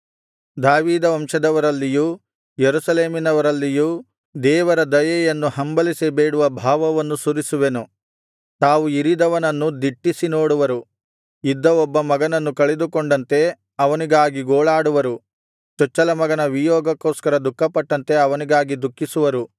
ದಾವೀದ ವಂಶದವರಲ್ಲಿಯೂ ಯೆರೂಸಲೇಮಿನವರಲ್ಲಿಯೂ ದೇವರ ದಯೆಯನ್ನು ಹಂಬಲಿಸಿ ಬೇಡುವ ಭಾವವನ್ನು ಸುರಿಸುವೆನು ತಾವು ಇರಿದವನನ್ನು ದಿಟ್ಟಿಸಿ ನೋಡುವರು ಇದ್ದ ಒಬ್ಬ ಮಗನನ್ನು ಕಳೆದುಕೊಂಡಂತೆ ಅವನಿಗಾಗಿ ಗೋಳಾಡುವರು ಚೊಚ್ಚಲ ಮಗನ ವಿಯೋಗಕ್ಕೋಸ್ಕರ ದುಃಖಪಟ್ಟಂತೆ ಅವನಿಗಾಗಿ ದುಃಖಿಸುವರು